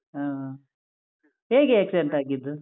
ಹ್ಮ್. ಹೇಗೆ accident ಆಗಿದ್ದು?